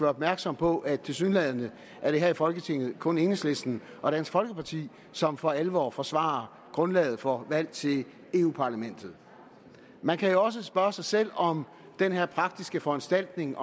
opmærksom på at tilsyneladende er det her i folketinget kun enhedslisten og dansk folkeparti som for alvor forsvarer grundlaget for valg til europa parlamentet man kan jo også spørge sig selv om den her praktiske foranstaltning